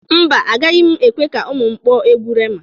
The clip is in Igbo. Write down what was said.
Mba, agaghị m ekwe ka ụmụ m kpọọ egwu Rema.